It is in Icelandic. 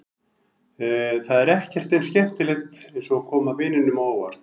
Það er ekkert eins skemmtilegt eins og að koma vinunum á óvart.